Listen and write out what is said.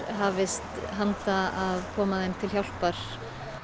hafist handa við að koma þeim til hjálpar